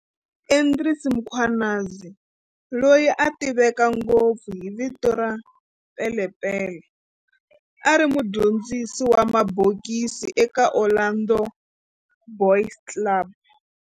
Andries Mkhwanazi, loyi a tiveka ngopfu hi vito ra Pele Pele, a ri mudyondzisi wa mabokisi eka Orlando Boys Club.